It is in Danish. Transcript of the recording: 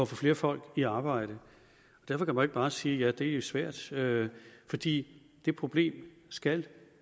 flere folk i arbejde derfor kan man bare sige at det er svært svært fordi det problem skal